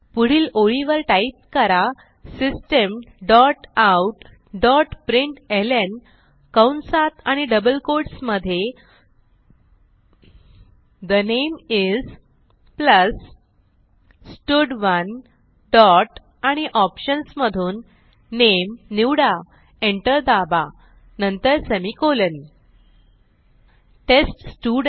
पुढील ओळीवर टाईप करा system dot out dot println कंसात आणि डबल कोट्स मधे ठे नामे इस प्लस स्टड1 डॉट आणि ऑप्शन्स मधून नामे निवडा एंटर दाबा नंतर सेमिकोलॉन